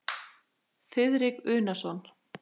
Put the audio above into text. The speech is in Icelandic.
Þiðrik Unason.